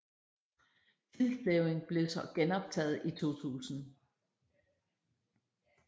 Tildeling blev så genoptaget i 2000